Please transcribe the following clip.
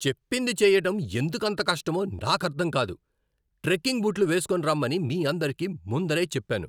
చెప్పింది చెయ్యటం ఎందుకంత కష్టమో నాకర్ధం కాదు. ట్రెకింగ్ బూట్లు వేస్కొని రమ్మని మీ అందరికీ ముందరే చెప్పాను.